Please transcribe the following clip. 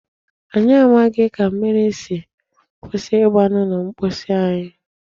Anyị amaghị ka mmiri si kwụsị igba n'ụlọ mposi anyị.